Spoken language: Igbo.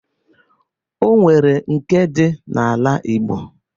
O nwere nke dị n'ala Igbo